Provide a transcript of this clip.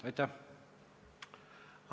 Aitäh!